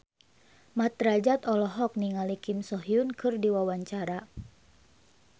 Mat Drajat olohok ningali Kim So Hyun keur diwawancara